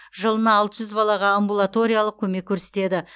жылына алты жүз балаға амбулаториялық көмек көрсетеді